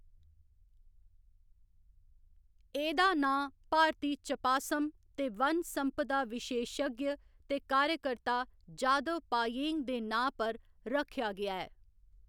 एह्‌‌‌दा नांऽ भारती चपासम ते वन संपदा विशेशज्ञ ते कार्यकर्ता जादव पायेंग दे नांऽ पर रक्खेआ गेआ ऐ।